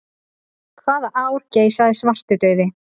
Hvaða ár geisaði svartidauði?